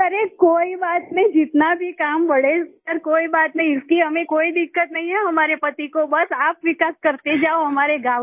अरे कोई बात नहीं जितना भी काम बढ़े सर कोई बात नहीं इसकी हमें कोई दिक्कत नहीं है हमारे पति को बस आप विकास करते जाओ हमारे गाँव का